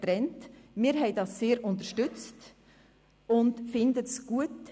Wir haben das sehr unterstützt und finden das gut.